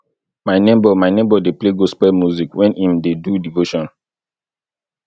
my neighbour my neighbour dey play gospel music wen im dey do devotion